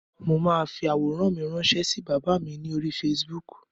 Mo máa fi àwòrán mi rànṣẹ́ sí bàbá mi ní orí Facebook.